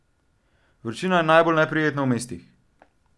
Vročina je najbolj neprijetna v mestih.